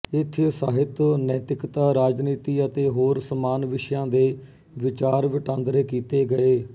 ਇੱਥੇ ਸਾਹਿਤ ਨੈਤਿਕਤਾ ਰਾਜਨੀਤੀ ਅਤੇ ਹੋਰ ਸਮਾਨ ਵਿਸ਼ਿਆਂ ਤੇ ਵਿਚਾਰ ਵਟਾਂਦਰੇ ਕੀਤੇ ਗਏ